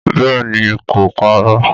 Bẹ́ẹ̀ ni, kò parọ́